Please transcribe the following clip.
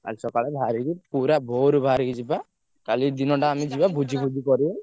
କାଲି ସକାଳେ ବାହାରିକି ପୁରା ଭୋରୁ ବାହାରିକି ଯିବା, କାଲି ଦିନଟା ଆମେ ଯିବା ଭୋଜିଫୋଜି କରିବା।